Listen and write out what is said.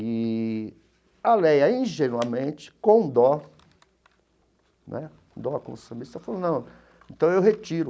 E a Léia, ingenuamente, com dó né, dó, falou, não, então eu retiro.